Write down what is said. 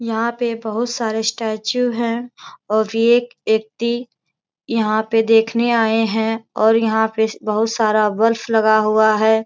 यहाँ पे बहुत सारे स्टेचू हैं और एक व्यक्ति यहाँ पे देखने आए हैं और यहाँ पे बहुत सारा बर्फ लगा हुआ है।